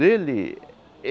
Dele?